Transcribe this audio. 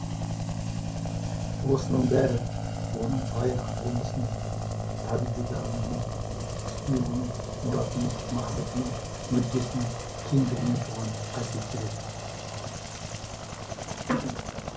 осының бәрі оның байырғы болмысының табиғи дарынының үстіне оның мұратының мақсатының мүддесінің кеңдігінен туған қасиеттер еді